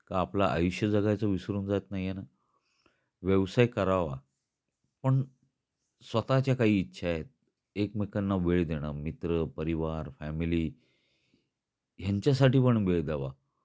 का आपल आयुष्य जगायच विसरून जात नाही आहे ना. व्यवसाय करावा, पण स्वताच्या काही इच्छा आहेत, एकमेकांना वेळ देण. मित्र, परिवार, फॅमिली, यांच्यासाठी पण वेळ द्यावा.